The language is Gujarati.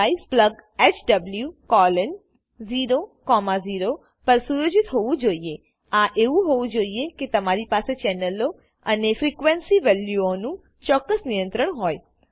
ડિવાઇસ એ plughw00 પર સુયોજિત હોવું જોઈએ આ એવું હોવું જોઈએ કે તમારી પાસે ચેનલો અને ફ્રીક્વેન્સી વેલ્યુઓનું ચોક્કસ નિયંત્રણ હોય